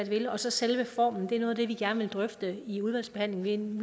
vil og så selve formen er noget af det vi gerne vil drøfte i udvalgsbehandlingen